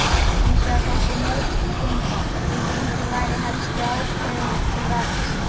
Hinsvegar þótti mörgum sem gengið væri helsti ákveðið til verks.